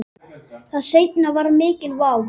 Það seinna var mikil vá.